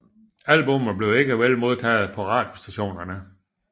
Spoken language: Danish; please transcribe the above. Albummet blev ikke vel modtaget på radiostationerne